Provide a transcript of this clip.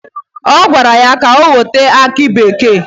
Ị gwara ya ka o wetere gị aki bekee?